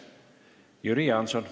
Jüri Jaanson.